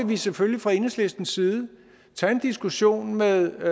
vi selvfølgelig fra enhedslistens side tage en diskussion med